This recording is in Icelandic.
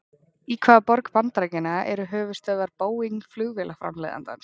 Í hvaða borg bandaríkjanna eru höfuðstöðvar Boeing flugvélaframleiðandans?